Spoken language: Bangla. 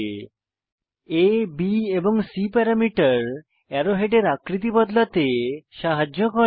আ B এবং C প্যারামিটার অ্যারো হেডের আকৃতি বদলাতে সাহায্য করে